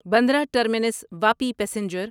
Bandra terminus Vapi passenger